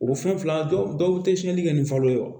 O fɛn fila dɔw tɛ siyɛnni kɛ ni falo ye wo